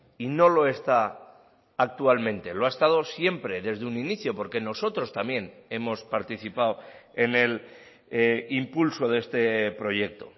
y no lo está actualmente lo ha estado siempre desde un inicio porque nosotros también hemos participado en el impulso de este proyecto